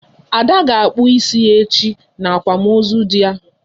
Ada will cut her hair tomorrow during her husband's burial